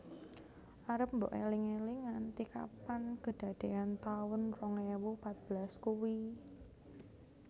Arep mbok eling eling nganti kapan kedadean taun rong ewu patbelas kui?